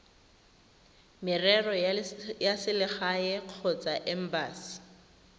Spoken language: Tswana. merero ya selegae kgotsa embasi